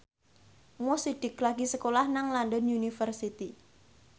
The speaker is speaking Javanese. Mo Sidik lagi sekolah nang London University